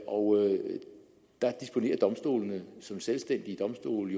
og der disponerer domstolene som selvstændige domstole